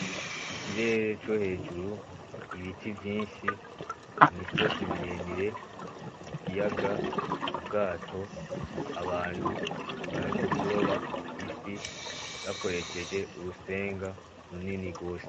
Ikirere co hejuru, ibiti vyinshi, imisozi miremire, ikiyaga, ubwato, abantu bari mukuroba ifi bakoresheje urusenga runini gose.